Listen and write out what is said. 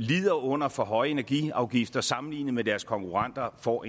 lider under for høje energiafgifter sammenlignet med deres konkurrenter får